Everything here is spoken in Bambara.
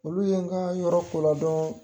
Olu ye an ka yɔrɔ ko ladɔɔn.